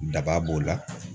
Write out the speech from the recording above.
Daba b'o la